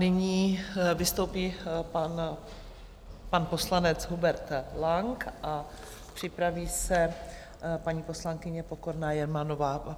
Nyní vystoupí pan poslanec Hubert Lang a připraví se paní poslankyně Pokorná Jermanová.